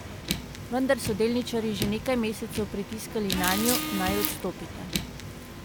Vendar so delničarji že nekaj mesecev pritiskali nanju, naj odstopita.